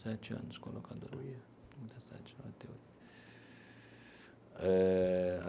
Sete anos com a locadora. Olha. Noventa e sete noventa e oito eh.